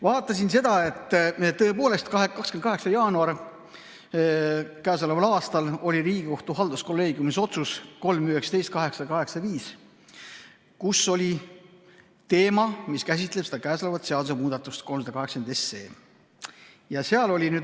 Vaatasin seda, et tõepoolest, k.a 28. jaanuaril tegi Riigikohtu halduskolleegium otsuse 3‑19‑885, kus oli käsitletud mida käsitletakse seaduseelnõus 380.